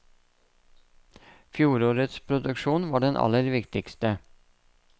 Fjorårets produksjon var den aller viktigste.